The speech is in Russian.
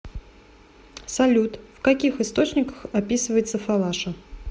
салют в каких источниках описывается фалаша